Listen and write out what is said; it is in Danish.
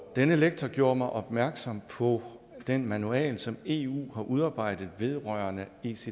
denne lektor gjorde mig opmærksom på den manual som eu har udarbejdet vedrørende ects